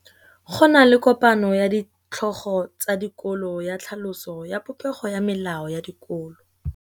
Go na le kopanô ya ditlhogo tsa dikolo ya tlhaloso ya popêgô ya melao ya dikolo.